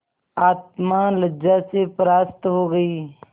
आत्मा लज्जा से परास्त हो गयी